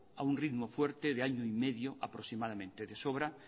a un ritmo fuerte de año y medio aproximadamente de sobra